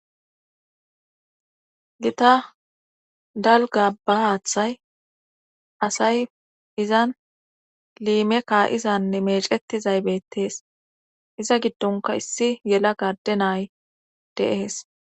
Gita dalga ba haaththay asay izan liime kaa7izanne mecetizay bettees iza giddonka issi yela gade nay deees.